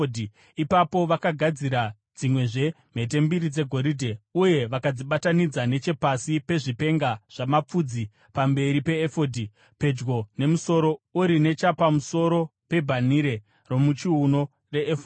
Ipapo vakagadzira dzimwezve mhete mbiri dzegoridhe uye vakadzibatanidza nechepasi pezvipenga zvamapfudzi pamberi peefodhi, pedyo nemusono uri nechapamusoro pebhanhire romuchiuno refodhi.